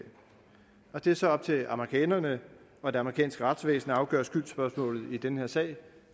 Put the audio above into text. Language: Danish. det er så op til amerikanerne og det amerikanske retsvæsen at afgøre skyldsspørgsmålet i den her sag